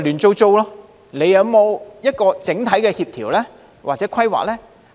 政府有整體的協調或規劃嗎？